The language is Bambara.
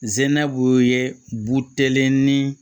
Zinɛw ye buteli ni